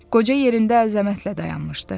Qoca yerində əzəmətlə dayanmışdı.